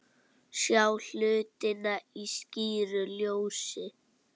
Sjá hlutina í skýru ljósi.